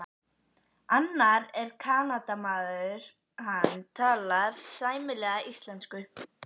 Annar er Kanadamaður, hann talar sæmilega íslensku.